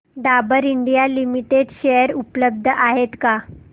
Dabur India limited share उपलब्ध आहेत का